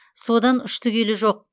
содан ұшты күйлі жоқ